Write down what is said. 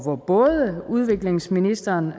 både udviklingsministeren